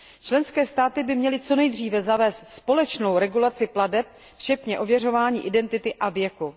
Členské státy by měly co nejdříve zavést společnou regulaci plateb včetně ověřování identity a věku.